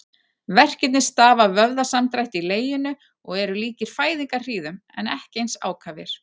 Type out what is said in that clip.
Verkirnir stafa af vöðvasamdrætti í leginu og eru líkir fæðingarhríðum en ekki eins ákafir.